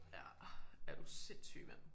Ja er du sindssyg mand